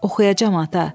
Oxuyacam ata.